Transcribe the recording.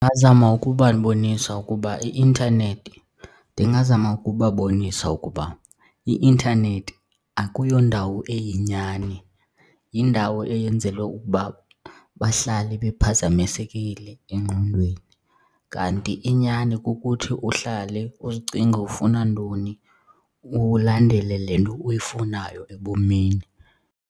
Ndingazama ukubabonisa ukuba i-intanethi, ndingazama ukubabonisa ukuba i-intanethi akuyo ndawo eyinyani yindawo eyenzelwe ukuba bahlale bephazamisekile engqondweni. Kanti inyani kukuthi uhlale uzicinge ufuna ntoni ulandele le nto uyifunayo ebomini.